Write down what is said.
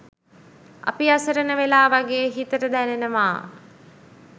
අපි අසරණ වෙලා වගේ හිතට දැනෙනවා